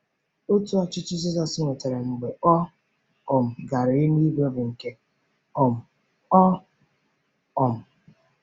Otù ọchịchị Jizọs nwetara mgbe ọ um gara eluigwe bụ nke um ọ̀? um